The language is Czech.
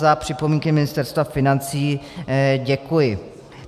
Za připomínky Ministerstva financí děkuji.